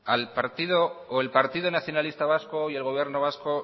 el partido nacionalista vasco y el gobierno vasco